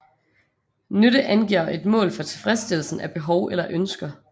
Nytte angiver et mål for tilfredsstillelsen af behov eller ønsker